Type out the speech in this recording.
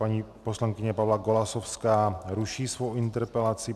Paní poslankyně Pavla Golasowská ruší svou interpelaci.